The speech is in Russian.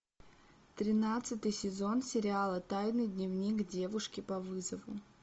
тринадцатый сезон сериала тайный дневник девушки по вызову